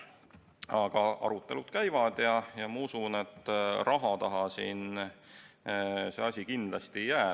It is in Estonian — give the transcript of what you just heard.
Aga arutelud käivad ja ma usun, et raha taha see asi kindlasti ei jää.